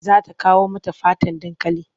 Za ta kawo mata faten dankali.